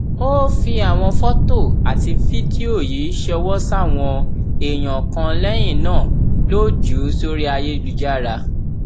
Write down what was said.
ó ó fi àwọn fọtò àti fídíò yìí ṣọwọ sáwọn èèyàn kan lẹyìn náà ló jù ú sórí ayélujára